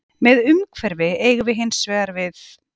Með umhverfi eigum við hins vegar við